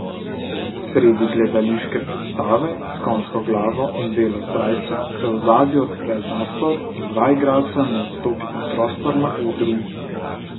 Sredi gledališke predstave s konjsko glavo in belo srajco se v ozadju odpre zastor in dva igralca mu odstopita prostor na odru.